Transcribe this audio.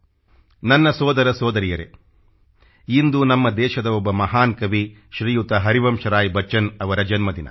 ನನ್ನ ಸೋದರ ಸೋದರಿಯರೇ ಇಂದು ನಮ್ಮ ದೇಶದ ಒಬ್ಬ ಮಹಾನ್ ಕವಿ ಶ್ರೀಯುತ ಹರಿವಂಶರಾಯ್ ಬಚ್ಚನ್ ಅವರ ಜನ್ಮದಿನ